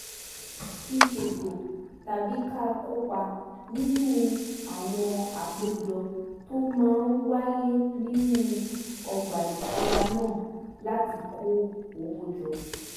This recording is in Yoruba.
fi ṣètò tàbí ká kópa nínú àwọn àpéjọ tó máa ń wáyé nínú ọgbà ìtura náà láti kó owó jọ